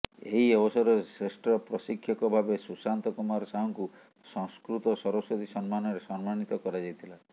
ଏହି ଅବସରରେ ଶ୍ରେଷ୍ଠ ପ୍ରଶିକ୍ଷକ ଭାବେ ସୁଶାନ୍ତ କୁମାର ସାହୁଙ୍କୁ ସଂସ୍କୃତ ସରସ୍ୱତୀ ସମ୍ମାନରେ ସମ୍ମାନିତ କରାଯାଇଥିଲା